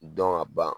Dɔn ka ban